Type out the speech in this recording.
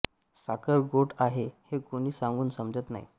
साखर गोड आहे हे कुणी सांगून समजत नाही